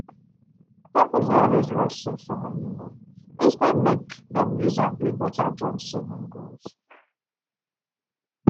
couples dey um always rush save for honeymoon instead um make dem use am build better joint savings um goals